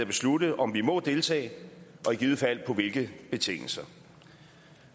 beslutte om vi må deltage og i givet fald på hvilke betingelser